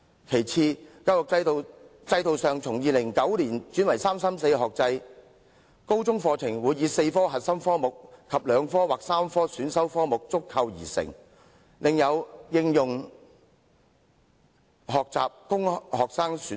"其次，教育制度自2009年起轉為'三三四'學制，高中課程包括4科核心科目及2科或3科選修科目，另有應用學習科供學生選讀。